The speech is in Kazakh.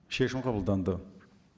шешім қабылданды